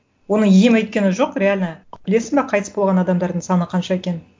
оның емі өйткені жоқ реально білесің бе қайтыс болған адамдардың саны қанша екенін